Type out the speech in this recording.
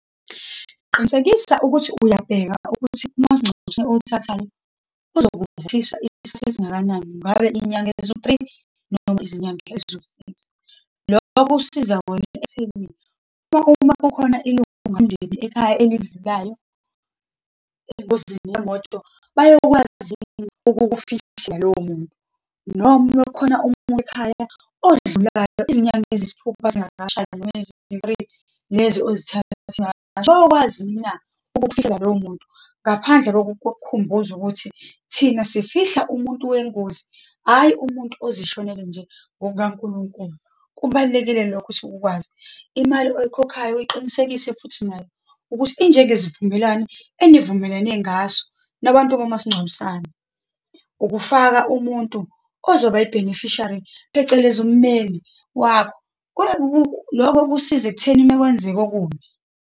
Qinisekisa ukuthi uyabheka ukuthi umasingcwabisane owuthathayo uzokukhavarisha isikhathi esingakanani, ngabe iy'nyanga eziwu-three, noma izinyanga eziwu-six. Loko kusiza wena ekutheni uma, uma kukhona ilungu lomndeni ekhaya elidlulayo, engozini yemoto, bayokwazi ukufihla, lowo muntu, noma uma kukhona omunye ekhaya odlulayo izinyanga eziyisithupha zingakashayi, noma eziwu-three lezi ozithethe, beyokwazi na ukukufihlela lowo muntu, ngaphandle kokukhumbuza ukuthi thina sifihla umuntu wengozi, hhayi umuntu ozishonele nje ngokukaNkulunkulu, kubalulekile lokho ukuthi ukwazi. Imali oyikhokhayo uyiqinisekise futhi nayo, ukuthi injengesivumelwane enivumelene ngaso nabantu bakamasingcwabisane. Ukufaka umuntu ozoba i-beneficiary, phecelezi ummeli wakho, lokho kusiza ekutheni uma kwenzeka okubi.